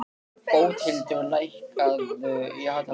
Bóthildur, lækkaðu í hátalaranum.